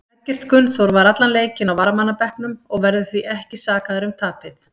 Eggert Gunnþór var allan leikinn á varamannabekknum og verður því ekki sakaður um tapið.